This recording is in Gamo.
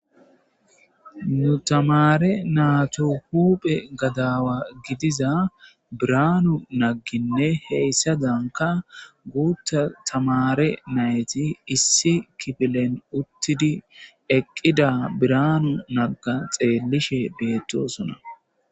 nu tamare naatu huphe gadaawa gidiza biranu nagginne heyssadanka guutta tamare nayti issi kifilen uttidi eqqida biranu nagga xeellishe beettosona